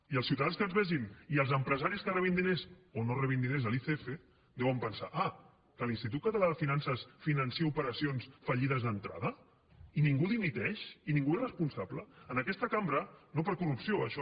i els ciutadans que ens vegin i els empresaris que rebin diners o no rebin diners de l’icf deuen pensar ah que l’institut català de finances finança operacions fallides d’entrada i ningú dimiteix i ningú és responsable en aquesta cambra no per corrupció això